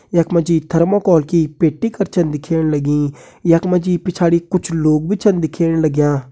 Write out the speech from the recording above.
यखमा जी थर्मोकोल की पेटी कर छन दिख्येण लगीं यखमा जी पिछाड़ी कुछ लोग भी छन दिख्येण लाग्यां।